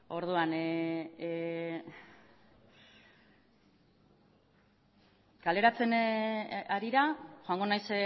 orduan kaleratzearen harira joango naiz